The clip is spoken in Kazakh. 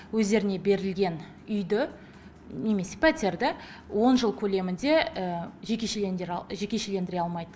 өздеріне берілген үйді немесе пәтерді он жыл көлемінде жекешелендіре алмайды